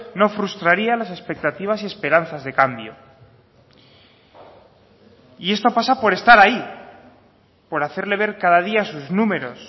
no frustraría las expectativas y esperanzas de cambio y esto pasa por estar ahí por hacerle ver cada día sus números